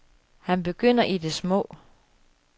Han begynder i det små.